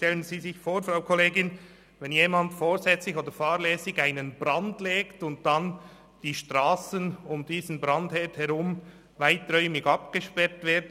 Stellen Sie sich vor, Frau Kollegin, jemand legt vorsätzlich oder fahrlässig einen Brand, und daraufhin müssen die Strassen um diesen Brandherd herum weiträumig abgesperrt werden.